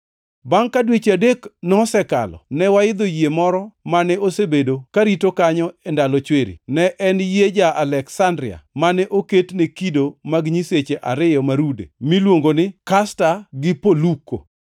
Bangʼ ka dweche adek nosekalo, ne waidho yie moro mane osebedo karito kanyo e ndalo chwiri. Ne en yie ja-Aleksandria mane oket ne kido mag nyiseche ariyo ma rude, miluongo ni, Kasta gi Poluko.